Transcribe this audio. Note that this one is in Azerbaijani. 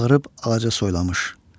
Çağırıb ağaca soylamış.